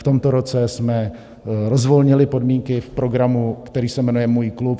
V tomto roce jsme rozvolnili podmínky v programu, který se jmenuje Můj klub.